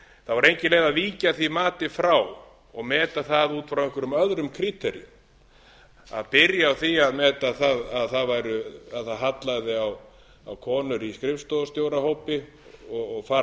engin leið að víkja því mati frá og meta það út frá einhverjum öðrum kríteríum að byrja á því að meta það að það hallaði á konur í skrifstofustjórahópi og fara